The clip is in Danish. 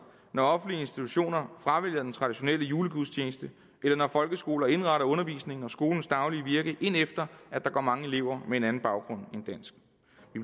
når offentlige institutioner fravælger den traditionelle julegudstjeneste eller når folkeskoler indretter undervisningen og skolens daglige virke efter at der går mange elever med en anden baggrund end dansk